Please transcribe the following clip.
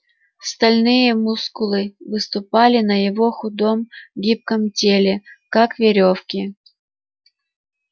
стальные мускулы выступали на его худом гибком теле как верёвки